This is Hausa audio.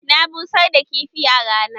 Na busar da kifi a rana.